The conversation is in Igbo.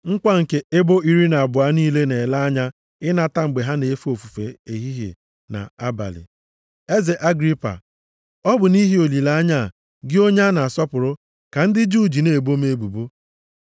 Nkwa nke ebo iri na abụọ niile na-ele anya ịnata mgbe ha na-efe ofufe ehihie na abalị. Eze Agripa, ọ bụ nʼihi olileanya a, gị onye a na-asọpụrụ, ka ndị Juu ji na-ebo m ebubo.